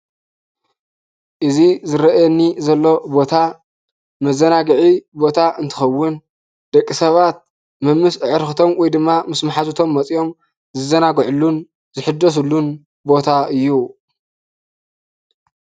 እዚ ዝረአየኒ ዘሎ ቦታ መዘናጊዒ ቦታ እንትከውን ደቂ ሰባት መምስ አዕርክቶም ወይ ካዓ መሓዝቶምን ዝዛናግዕሉን ዝሕደስሉን ቦታ እዩ ፡፡